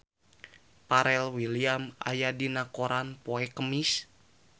Pharrell Williams aya dina koran poe Kemis